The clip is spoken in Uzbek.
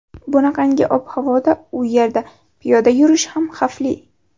Bunaqangi ob-havoda u yerda piyoda yurish ham xavfli.